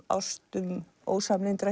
ástum